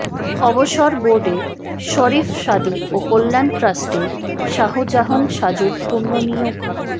অবসর বোর্ডে শরীফ সাদী ও কল্যাণ ট্রাস্টে শাহজাহান সাজুর পুনর্নিয়োগ